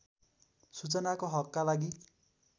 सूचनाको हकका लागि